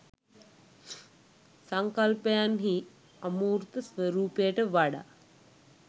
සංකල්පයන් හී අමූර්ත ස්වරූපයට වඩා